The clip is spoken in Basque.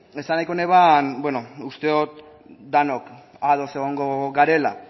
esan nahiko neban beno uste dut denok ados egongo garela